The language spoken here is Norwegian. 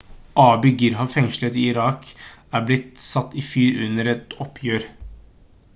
abu ghraib-fengselet i irak er blitt satt i fyr under et opprør